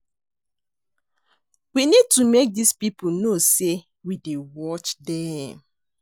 We need to make dis people know say we dey watch dem